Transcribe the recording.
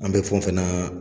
An bɛ fɛn o fɛn na